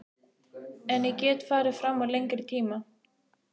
En ég get farið fram á lengri tíma.